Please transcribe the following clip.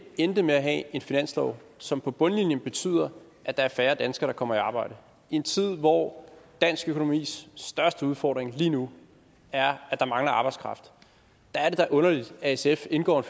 endte med at have en finanslov som på bundlinjen betyder at der er færre danskere der kommer i arbejde i en tid hvor dansk økonomis største udfordring lige nu er at der mangler arbejdskraft er det da underligt at sf indgår